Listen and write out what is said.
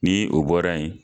Ni o bɔra ye